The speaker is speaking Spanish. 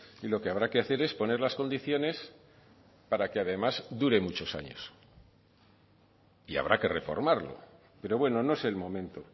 y lo que habrá que hacer es poner las condiciones para que además dure muchos años y habrá que reformarlo pero bueno no es el momento